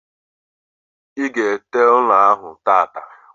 I ga ete ụlọ ahụ tata